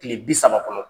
Kile bi saba kɔnɔ